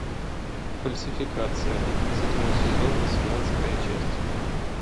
фальсификация седьмой сезон восемнадцатая часть